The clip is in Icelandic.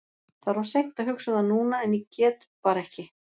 Það er of seint að hugsa um það núna en ég get bara ekki.